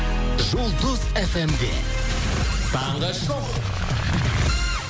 жұлдыз эф эм де таңғы щоу